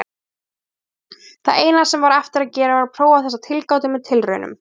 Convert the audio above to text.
Það eina sem var eftir að gera var að prófa þessa tilgátu með tilraunum.